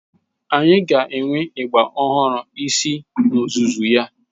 Anyị ga-enwe ịgbà ọhụrụ isii n'ozuzu ya.